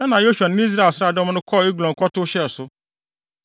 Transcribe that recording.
Ɛnna Yosua ne ne Israel nsraadɔm no kɔɔ Eglon kɔtow hyɛɛ so.